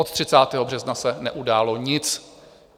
Od 30. března se neudálo nic.